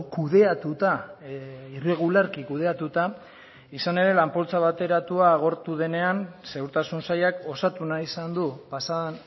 kudeatuta irregularki kudeatuta izan ere lan poltsa bateratua agortu denean segurtasun sailak osatu nahi izan du pasaden